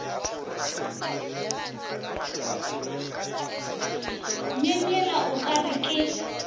myemyela o ka re ke